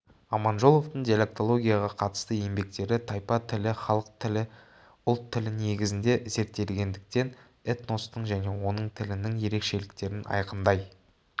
аманжоловтың диалектологияға қатысты еңбектері тайпа тілі халық тілі ұлт тілі негізінде зерттелінгендіктен этностың және оның тілінің ерекшеліктерін айқындай